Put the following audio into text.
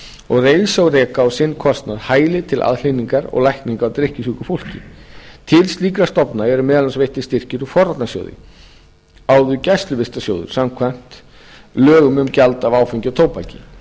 og eins að reisa og reka á sinn kostnað hæli til aðhlynningar og lækninga á drykkjusjúku fólki til slíkra stofnana eru meðal annars veittir styrkir úr forvarnasjóði áður gæsluvistarsjóð samkvæmt lögum um gjald af áfengi og tóbaki